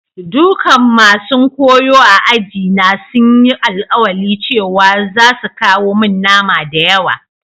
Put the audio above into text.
Dukan masun koyo a'aji na sun yi alkawali cewa zasu kawo mun nama da yawa.